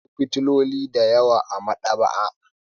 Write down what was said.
Akwai fefofi da yawa a maɗaba'a.